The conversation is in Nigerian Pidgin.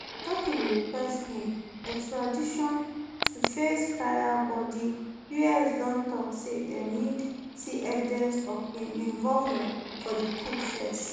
turkey bin request im extradition to face trial but di us don tok say dem need see evidence of im involvement for di coup first